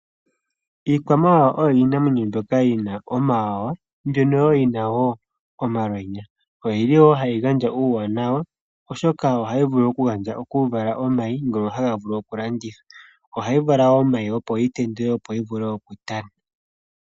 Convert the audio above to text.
Iikwamawawa oyo iinamwenyo mbyoka yi na omawawa mbyono wo yi na wo omalwenya. Oyi li wo ha yi gandja uuwanawa oshoka ohayi vulu okuvala omayi, ngono ha ga vulu okulandithwa. Ohayi vala wo omayi nokuga tendula opo yi vule okutaneka .